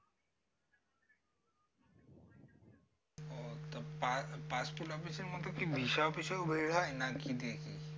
পা passport office মতো কি visa office ও এ হয় নাকি?